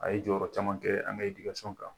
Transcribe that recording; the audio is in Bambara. A ye jɔyɔrɔ caman kɛ, an ka kan.